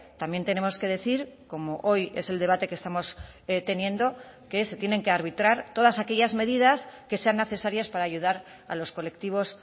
también tenemos que decir como hoy es el debate que estamos teniendo que se tienen que arbitrar todas aquellas medidas que sean necesarias para ayudar a los colectivos